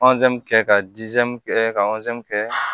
kɛ ka kɛ ka kɛ